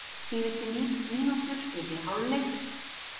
Síðustu mínútur fyrri hálfleiks voru heldur líflegar.